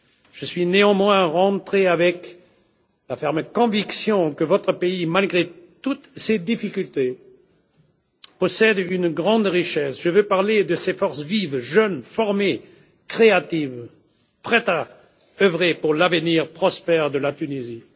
Je suis néanmoins rentré avec la ferme conviction que votre pays, malgré toutes ces difficultés, possède une grande richesse je veux parler de ces forces vives, jeunes, formées, créatives, prêtes à œuvrer pour l'avenir prospère de la Tunisie.